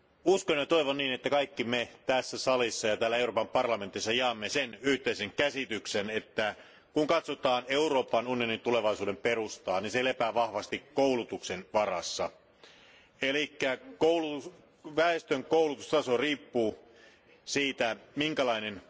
Uskon ja toivon, että kaikki me tässä salissa ja Euroopan parlamentissa jaamme sen yhteisen käsityksen, että kun katsotaan Euroopan unionin tulevaisuuden perustaa, se lepää vahvasti koulutuksen varassa eli väestön koulutustaso riippuu siitä, minkälainen